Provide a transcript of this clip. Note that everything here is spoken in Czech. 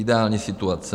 Ideální situace.